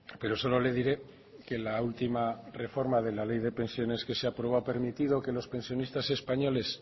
pero solo le diré que la última reforma de la ley de pensiones que se aprobó ha permitido que los pensionistas españoles